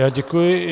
Já děkuji.